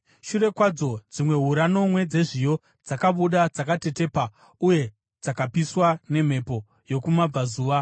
Shure kwadzo, dzimwe hura nomwe dzezviyo dzakabuda, dzakatetepa uye dzakapiswa nemhepo yokumabvazuva.